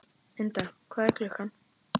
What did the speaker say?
Ynda, hvað er klukkan?